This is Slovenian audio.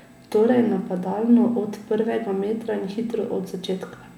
Torej napadalno od prvega metra in hitro od začetka.